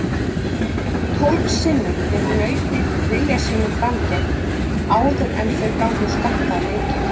Tólf sinnum fékk nautið vilja sínum framgengt áður en þau gátu skakkað leikinn.